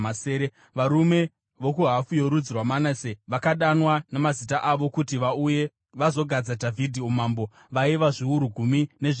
varume vokuhafu yorudzi rwaManase vakadanwa namazita avo kuti vauye vazogadza Dhavhidhi umambo vaiva zviuru gumi nezvisere;